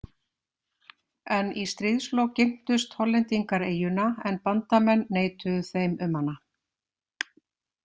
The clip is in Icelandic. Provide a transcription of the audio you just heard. En í stríðslok girntust Hollendingar eyjuna en bandamenn neituðu þeim um hana.